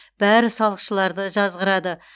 бәрі салықшыларды жазғырады